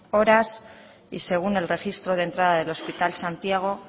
horas y según el registro de entrada del hospital santiago